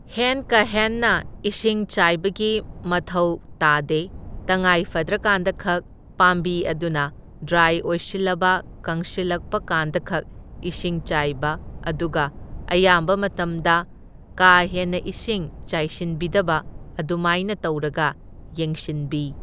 Hand ꯀꯥ ꯍꯦꯟꯅ ꯏꯁꯤꯡ ꯆꯥꯏꯕꯒꯤ ꯃꯊꯧ ꯇꯥꯗꯦ ꯇꯉꯥꯏ ꯐꯗ꯭ꯔꯀꯥꯟꯗꯈꯛ ꯄꯥꯝꯕꯤ ꯑꯗꯨꯅ ꯗ꯭ꯔꯥꯏ ꯑꯣꯏꯁꯤꯜꯂꯕ ꯀꯪꯁꯤꯜꯂꯛꯄ ꯀꯥꯟꯗꯈꯛ ꯏꯁꯤꯡ ꯆꯥꯏꯕ ꯑꯗꯨꯒ ꯑꯌꯥꯝꯕ ꯃꯇꯝꯗ ꯀꯥ ꯍꯦꯟꯅ ꯏꯁꯤꯡ ꯆꯥꯏꯁꯤꯟꯕꯤꯗꯕ ꯑꯗꯨꯃꯥꯏꯅ ꯇꯧꯔꯒ ꯌꯦꯡꯁꯤꯟꯕꯤ꯫